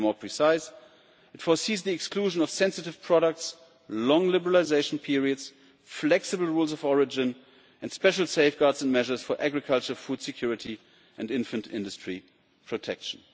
To be more precise, it foresees the exclusion of sensitive products, long liberalisation periods, flexible rules of origin and special safeguards and measures for agriculture food security and infant industry protection.